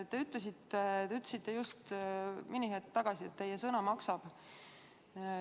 Te ütlesite just mõni hetk tagasi, et teie sõna maksab.